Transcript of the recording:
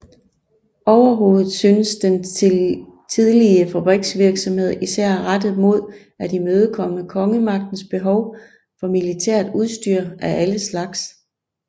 Overhovedet synes den tidlige fabriksvirksomhed især rettet mod at imødekomme kongemagtens behov for militært udstyr af alle slags